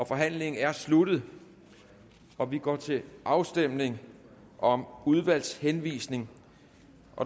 forhandlingen er sluttet og vi går til afstemning om udvalgshenvisning